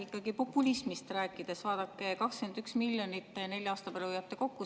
Ikkagi populismist rääkides, vaadake, 21 miljonit nelja aasta peale hoiate kokku.